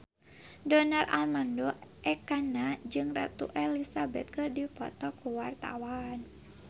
Donar Armando Ekana jeung Ratu Elizabeth keur dipoto ku wartawan